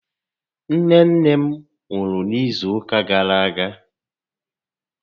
Nné nné m nwụrụ n'izu ụka gàrà aga